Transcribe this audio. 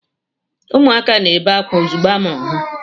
Ụmụaka na-ebe akwa ozugbo amụrụ ha.